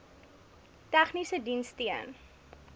tegniese diens steun